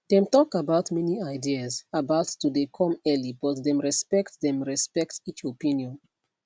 dem talk about many ideas about to dey come earlybut them respect them respect each opinion